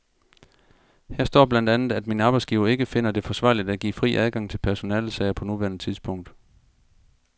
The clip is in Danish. Her står blandt andet, at min arbejdsgiver ikke finder det forsvarligt at give fri adgang til personalesager på nuværende tidspunkt.